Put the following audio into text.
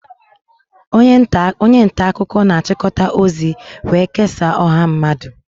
Onye nta akụkọ na-achịkọta ozi wee kesaa ọha mmadụ